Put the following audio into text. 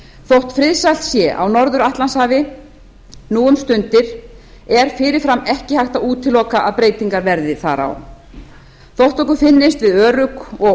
þótt friðsælt sé á norður atlantshafi enn um stundir er fyrirfram ekki hægt að útiloka að breytingar verði þar á þótt okkur finnist við örugg og